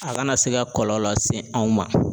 A kana se ka kɔlɔlɔ lase anw ma